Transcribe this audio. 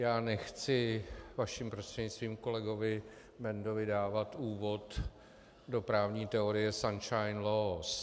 Já nechci vaším prostřednictvím kolegovi Bendovi dávat úvod do právní teorie sunshine laws.